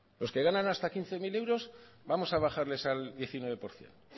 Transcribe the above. los que ganan hasta quince mil euros vamos a bajarles al diecinueve por ciento